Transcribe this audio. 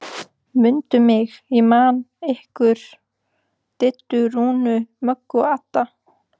Mundu mig, ég man ykkur Diddu, Rúnu, Möggu, Adda